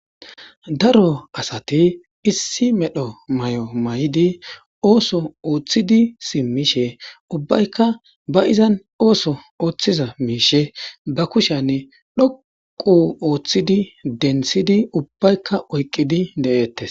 daro asati issi medho may7o may7idi ooso ooththidi simmishe ubbaykka baizan ooso ooththiza miishe ba kushanne dhoqu ooththidi dentidi ubbaykka oyqqidi de7eettes